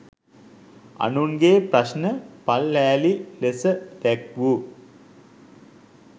අනුන්ගෙ ප්‍රශ්න පල්හෑලි ලෙස දැක්වූ